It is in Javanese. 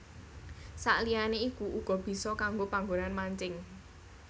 Saliyané iku uga bisa kanggo panggonan mancing